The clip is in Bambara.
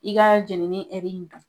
I ka jɛninin hɛri in na.